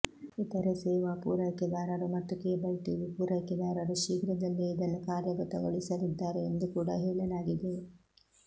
ಇತರೆ ಸೇವಾ ಪೂರೈಕೆದಾರರು ಮತ್ತು ಕೇಬಲ್ ಟಿವಿ ಪೂರೈಕೆದಾರರು ಶೀಘ್ರದಲ್ಲೇ ಇದನ್ನು ಕಾರ್ಯಗತಗೊಳಿಸಲಿದ್ದಾರೆ ಎಂದೂ ಕೂಡ ಹೇಳಲಾಗಿದೆ